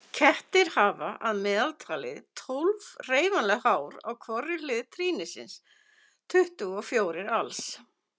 Kettir hafa að meðaltali tólf hreyfanleg hár á hvorri hlið trýnisins, tuttugu og fjórir alls.